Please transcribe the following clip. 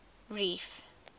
reef